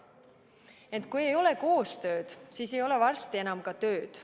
Ent kui ei ole koostööd, siis ei ole varsti enam ka tööd.